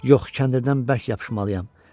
Yox, kəndirdən bərk yapışmalıyam.